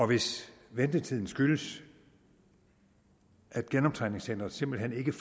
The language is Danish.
hvis ventetiden skyldes at genoptræningscenteret simpelt hen ikke